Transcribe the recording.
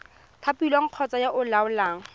thapilweng kgotsa yo o laolang